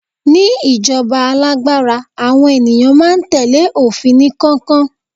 ní ijoba alágbára, àwọn ènìyàn ma n tẹle ofin ni kankan